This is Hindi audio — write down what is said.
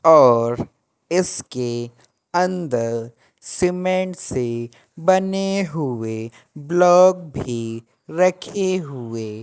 और इसके अंदर सीमेंट से बने हुए ब्लॉक भी रखे हुए--